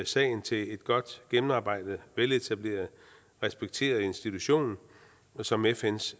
sagen til en godt gennemarbejdet veletableret respekteret institution som fns